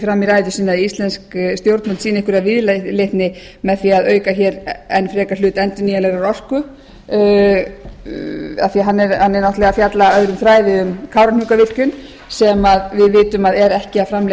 fram í ræðu efni að íslensk stjórnvöld sýni einhverja viðleitni með því að auka hér enn frekar hlut endurnýjanlegrar orku af því að hann er náttúrlega að fjalla öðrum þræði um kárahnjúkavirkjun sem við vitum að er ekki að framleiða